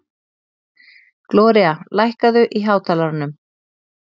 Gloría, lækkaðu í hátalaranum.